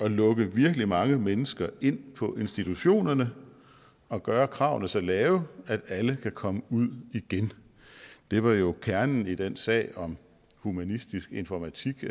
at lukke virkelig mange mennesker ind på institutionerne og at gøre kravene så lave at alle kan komme ud igen det var jo kernen i den sag om humanistisk informatik